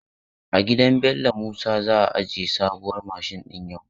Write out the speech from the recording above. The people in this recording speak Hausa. A gidan Bello Musa za a aje sabuwar mashin din yau.